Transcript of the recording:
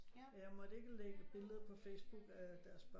Jeg måtte ikke lægge billeder på Facebook af deres børn